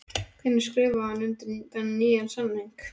Hvenær skrifaði hann undir nýjan samning?